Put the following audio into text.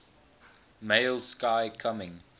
male sky coming